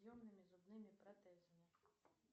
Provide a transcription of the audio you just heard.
съемными зубными протезами